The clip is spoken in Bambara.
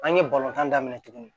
An ye balontan daminɛ tugun